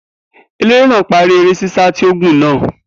Eléré náà parí eré ṣíṣá tí ó gùn náà